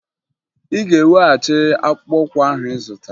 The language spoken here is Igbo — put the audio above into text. Ị ga-eweghachi akpụkpọụkwụ ahụ ị zụtara!